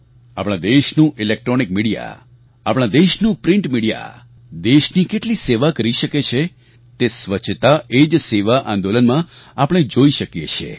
આપણા દેશનું electronic media આપણા દેશનું પ્રિન્ટ મીડિયા દેશની કેટલી સેવા કરી શકે છે તે સ્વચ્છતા એ જ સેવા આંદોલનમાં આપણે જોઈ શકીએ છીએ